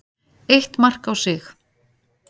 Eitt mark á sig.